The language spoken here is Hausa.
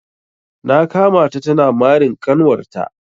Na kama ta tana marin kanwar ta.